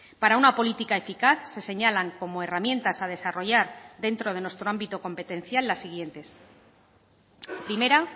para una política eficaz se señalan como herramientas a desarrollar dentro de nuestro ámbito competencial las siguientes primera